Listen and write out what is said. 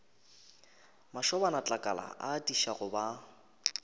mašobanatlakala a atiša go ba